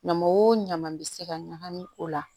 Ɲama o ɲama bɛ se ka ɲagami o la